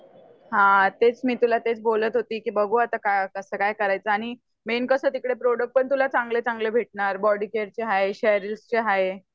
हा तेच मी तुला तेच बोलत होते की बघू आता कसं काय करायच आणि मेन कसं तिकडे प्रोड़क्ट पण तुला चांगले भेटणार बॉडी केयरचे आहे शेरिल्स चे आहेत